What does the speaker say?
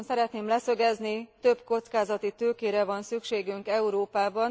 Rögtön szeretném leszögezni több kockázati tőkére van szükségünk Európában.